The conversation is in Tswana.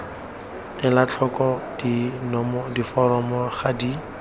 ela tlhoko diforomo ga di